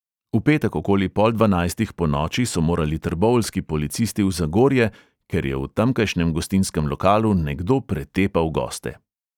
V petek okoli pol dvanajstih ponoči so morali trboveljski policisti v zagorje, ker je v tamkajšnjem gostinskem lokalu nekdo pretepal goste.